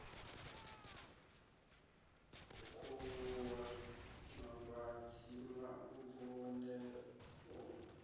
u khuvhuwa mavhadzi mvun eo